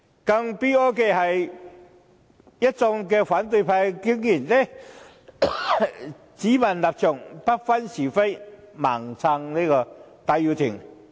更悲哀的是，一眾反對派議員竟然只問立場，不分是非，"盲撐"戴耀廷。